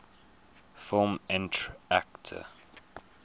film entr acte